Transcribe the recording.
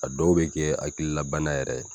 A dɔw bɛ kɛ hakililabana yɛrɛ